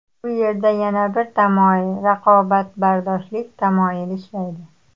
Bu yerda yana bir tamoyil raqobatbardoshlik tamoyili ishlaydi.